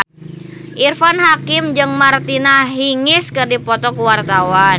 Irfan Hakim jeung Martina Hingis keur dipoto ku wartawan